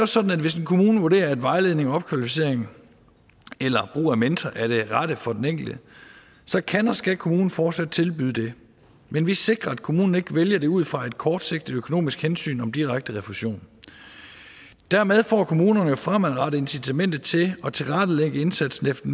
sådan at hvis en kommune vurderer at vejledning opkvalificering eller brug af mentor er det rette for den enkelte så kan og skal kommunen fortsat tilbyde det men vi sikrer at kommunen ikke vælger det ud fra et kortsigtet økonomisk hensyn om direkte refusion dermed får kommunerne jo fremadrettet incitamentet til at tilrettelægge indsatsen efter